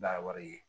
N'a wari ye